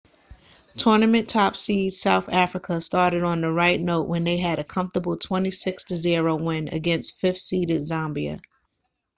tournament top seeds south africa started on the right note when they had a comfortable 26 - 00 win against 5th seeded zambia